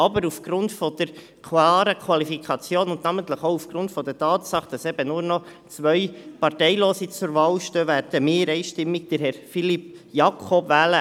Aber aufgrund der klaren Qualifikation und namentlich auch aufgrund der Tatsache, dass eben nur noch zwei Parteilose zur Wahl stehen, werden wir einstimmig Herrn Philippe Jakob wählen.